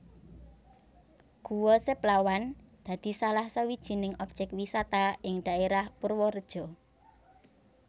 Guwa Seplawan dadi salah sawijining objèk wisata ing daèrah Purwareja